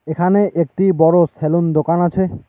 এখানে একটি বড়ো সেলুন দোকান আছে।